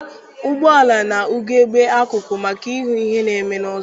Ụgbọala na- ugegbe akụkụ maka ịhụ ihe na-eme n'azụ.